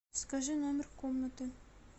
скажи номер комнаты